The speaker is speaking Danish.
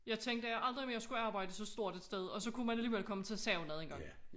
Jeg tænkte at jeg aldrig mere skulle arbejde så stort et sted og så kunne man alligevel komme til at savne det